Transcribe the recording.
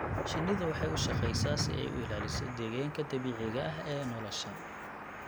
Shinnidu waxay u shaqeysaa si ay u ilaaliso deegaanka dabiiciga ah ee nolosha.